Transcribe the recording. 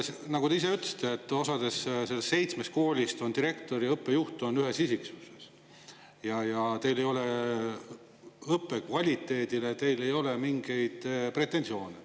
Nagu te ise ütlesite, osas neist seitsmest koolist on direktor ja õppejuht ühes isikus ja teil ei ole õppe kvaliteedile mingeid pretensioone.